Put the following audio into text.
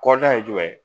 Kɔda ye jumɛn ye